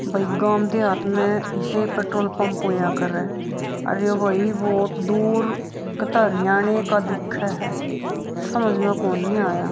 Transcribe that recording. भाई गाम देहात में इसे ही पेट्रोल पंप होया करे आर ई एगो बहुत दूर कते हरियाणा के दिखे है समझ में कोनी आया।